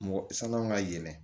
Mɔgɔ sannaman ka yɛlɛn